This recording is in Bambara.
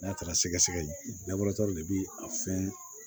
N'a taara sɛgɛ sɛgɛ de bi a fɛn